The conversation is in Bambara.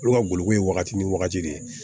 Olu ka gologu ye wagati ni wagati de ye